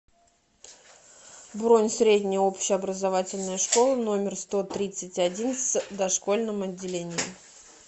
бронь средняя общеобразовательная школа номер сто тридцать один с дошкольным отделением